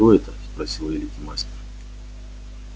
что это спросил великий мастер